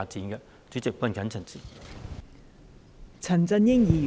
代理主席，我謹此陳辭。